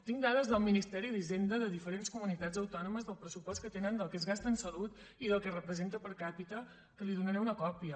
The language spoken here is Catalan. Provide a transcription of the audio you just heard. tinc dades del ministeri d’hisenda de diferents comunitats autònomes del pressupost que tenen del que es gasta en salut i del que representa per capita que li’n donaré una còpia